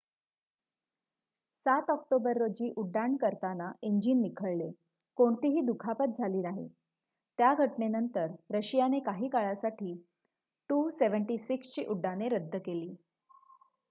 ७ October रोजी उड्डाण करताना इंजीन निखळले कोणतीही दुखापत झाली नाही. त्या घटनेनंतर रशियाने काही काळासाठी il-76 ची उड्डाणे रद्द केली